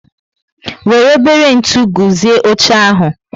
Wéré ebere ntụ guzie óche ahu